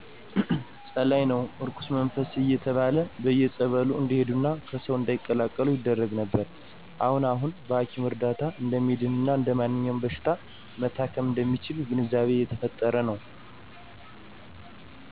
ጸላኢ ነው እርኩስመንፈስ እየተባለ በየፀበሉ እንዲሄዱና ከሰው እንዳይቀላቀሉ ይደረግ ነበር አሁን አሁን በሀኪም እርዳታ እደሚድን እና እደማንኛውም በሺታ መታከም እደሚችል ግንዛቤ እየተፈጠረ ነው